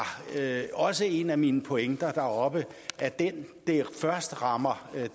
en af mine pointer deroppe den det først rammer